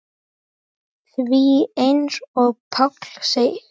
Því eins og Páll segir